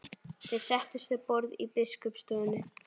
Þeir settust við borð í biskupsstofunni.